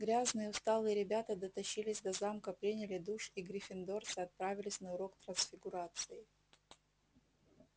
грязные усталые ребята дотащились до замка приняли душ и гриффиндорцы отправились на урок трансфигурации